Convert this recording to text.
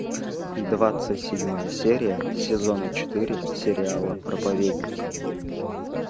двадцать седьмая серия сезона четыре сериала проповедник